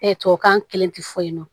tubabukan kelen ti fɔ yen nɔ